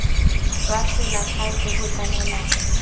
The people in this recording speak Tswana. jwa selegae jo bo tlamelang